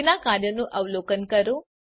તેના કાર્યોનું અવલોકન કરો